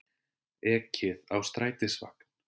Ekið á strætisvagn